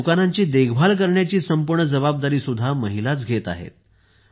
या दुकानांची देखभाल करण्याची संपूर्ण जबाबदारीही महिला घेत आहेत